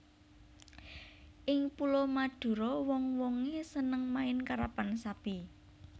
Ing Pulo Madura wong wongé seneng main karapan sapi